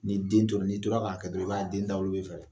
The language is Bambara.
Ni den tora n'i tora k'a kɛ dɔrɔn i b'a den da dawolo bɛ pɛrɛn